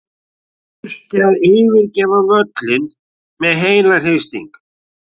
Þurfti að yfirgefa völlinn með heilahristing.